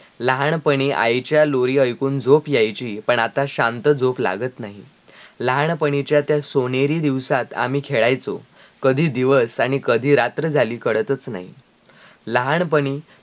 लहानपणी आईच्या लोरी आयकून झोप यायची पण आता शांत झोप लागत नाही, लहानपणीच्या त्या सोनेरी दिवसात आम्ही खेळायचो कधी दिवस आणी कधी रात्र झाली कडतच नाही, लहानपणी